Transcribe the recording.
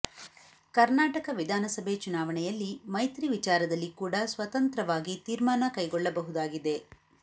ಕರ್ನಾಟಕ ವಿಧಾನಸಭೆ ಚುನಾವಣೆಯಲ್ಲಿ ಮೈತ್ರಿ ವಿಚಾರದಲ್ಲಿ ಕೂಡ ಸ್ವತಂತ್ರವಾಗಿ ತೀರ್ಮಾನ ಕೈಗೊಳ್ಳಬಹುದಾಗಿದೆ